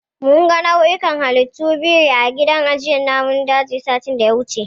Mun ga nau'ikan halittun biri a gidan ajiyar namun dajin, satin da ya wuce.